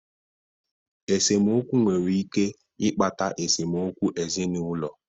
Esemokwu nwere ike ịkpata esemokwu ezinụlọ.